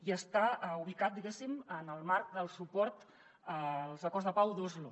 i està ubicat diguéssim en el marc del suport als acords de pau d’oslo